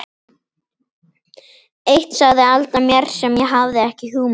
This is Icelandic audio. Eitt sagði Alda mér sem ég hafði ekki hugmynd um.